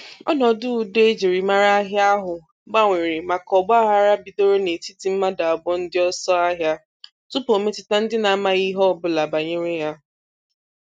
ọnọdụ udo e jiri mara ahịa ahụ gbanwere maka ọgbaaghara bidoro n'etiti mmadụ abụọ ndị ọsọ ahịa tupuu ọ metụta ndị na-amaghị ihe ọbụla banyere ya.